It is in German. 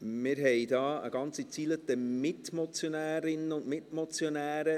Wir haben eine ganze Reihe Mitmotionärinnnen und Mitmotionäre.